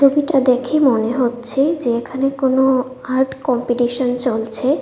এটা দেখে মনে হচ্ছে যে এখানে কোন আর্ট কম্পিটিশন চলছে।